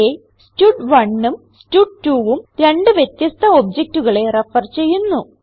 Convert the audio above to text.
ഇവിടെ stud1ഉം stud2ഉം രണ്ട് വ്യത്യസ്ഥ objectകളെ റെഫർ ചെയ്യുന്നു